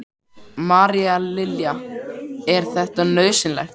María Lilja: Er þetta nauðsynlegt?